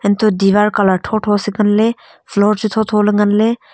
toh diwar colour se ngan le floor floor chu.